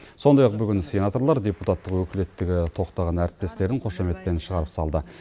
сондай ақ бүгін сенаторлар депутаттық өкілеттігі тоқтаған әріптестерін қошеметпен шығарып салды